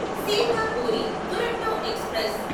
Sealdah Puri Duronto express